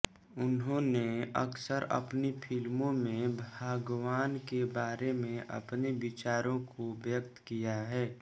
उन्होंने अक्सर अपनी फिल्मों में भगवान के बारे में अपने विचारों को व्यक्त किया है